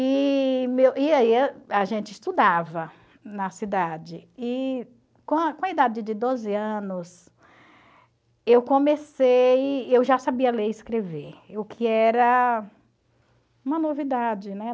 E e aí a gente estudava na cidade e com a com a idade de doze anos eu comecei, eu já sabia ler e escrever, o que era uma novidade, né?